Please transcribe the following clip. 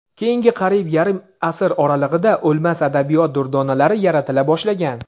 Keyingi qariyb yarim asr oralig‘ida "O‘lmas" adabiyot durdonalari yaratila boshlangan.